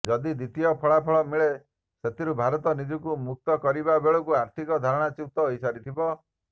ଯଦି ଦ୍ୱିତୀୟ ଫଳାଫଳ ମିଳେ ସେଥିରୁ ଭାରତ ନିଜକୁ ମୁକ୍ତ କରିବା ବେଳକୁ ଆର୍ଥିକ ଧାରଣାଚ୍ୟୁତ ହୋଇସାରିଥିବ